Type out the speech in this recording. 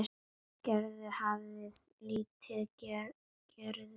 Gerður hafði lítið ferðast um landið.